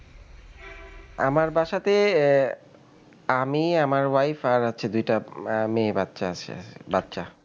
আমার বাসাতে আহ আমি আমার wife আর হচ্ছে দুইটা মেয়ে বাচ্চা আছে বাচ্চা.